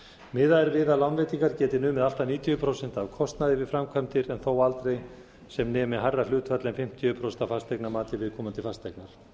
miðað er við að lánveitingar geti numið allt að níutíu prósent af kostnaði við framkvæmdir en þó aldrei sem nemi hærra hlutfalli en fimmtíu prósent af fasteignamati viðkomandi fasteignar